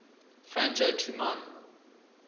franjo tu man